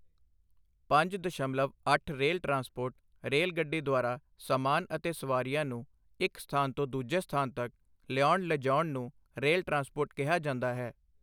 ਪੰਜ ਦਸ਼ਮਲਵ ਅੱਠ ਰੇਲ ਟਰਾਂਸਪੋਰਟ- ਰੇਲ ਗੱਡੀ ਦੁਆਰਾ ਸਮਾਨ ਅਤੇ ਸਵਾਰੀਆਂ ਨੂੰ ਇੱਕ ਸਥਾਨ ਤੋਂ ਦੂਜੇ ਸਥਾਨ ਤੱਕ ਲਿਆਉਣ ਲਿਜਾਉਣ ਨੂੰ ਰੇਲ ਟਰਾਂਸਪੋਰਟ ਕਿਹਾ ਜਾਂਦਾ ਹੈ।